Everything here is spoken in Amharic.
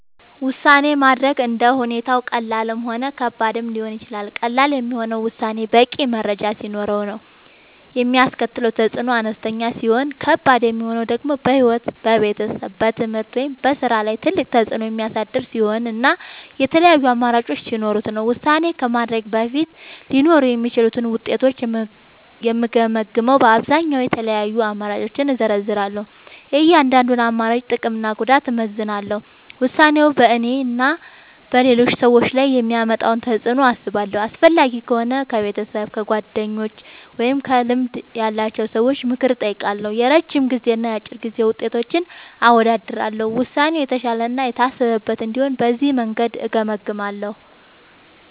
ውሳኔ ማድረግ እንደ ሁኔታው ቀላልም ሆነ ከባድም ሊሆን ይችላል። ቀላል የሚሆነው ውሳኔው በቂ መረጃ ሲኖረው እና የሚያስከትለው ተፅዕኖ አነስተኛ ሲሆን ነው። ከባድ የሚሆነው ደግሞ በሕይወት፣ በቤተሰብ፣ በትምህርት ወይም በሥራ ላይ ትልቅ ተፅዕኖ የሚያሳድር ሲሆን እና የተለያዩ አማራጮች ሲኖሩት ነው። ውሳኔ ከማድረግ በፊት ሊኖሩ የሚችሉትን ውጤቶች የምገመግመዉ በአብዛኛዉ፦ የተለያዩ አማራጮችን እዘረዝራለሁ። የእያንዳንዱን አማራጭ ጥቅምና ጉዳት አመዛዝናለሁ። ውሳኔው በእኔና በሌሎች ሰዎች ላይ የሚያመጣውን ተፅዕኖ አስባለሁ። አስፈላጊ ከሆነ ከቤተሰብ፣ ከጓደኞች ወይም ከልምድ ያላቸው ሰዎች ምክር እጠይቃለሁ። የረጅም ጊዜና የአጭር ጊዜ ውጤቶችን አወዳድራለሁ። ውሳኔው የተሻለ እና የታሰበበት እንዲሆን በዚህ መንገድ እገመግማለሁ።